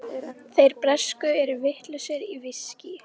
Þeir bresku eru vitlausir í viskí.